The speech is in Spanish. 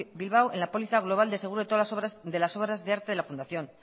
bilbao en la póliza global de seguro de las obras de arte de la fundación